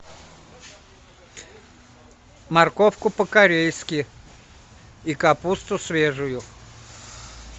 морковку по корейски и капусту свежую